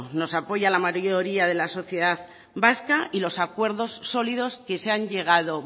nos apoya la mayoría de la sociedad vasca y los acuerdos sólidos que se han llegado